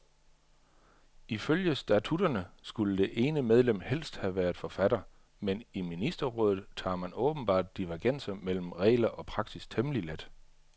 Ifølge statutterne skulle det ene medlem helst have været forfatter, men i ministerrådet tager man åbenbart divergenser mellem regler og praksis temmelig let.